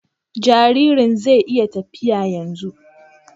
Jaririn zai iya tafiya yanzu